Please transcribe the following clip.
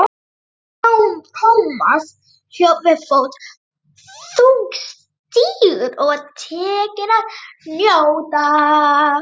Thomas hljóp við fót, þungstígur og var tekinn að hnjóta.